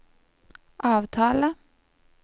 avtale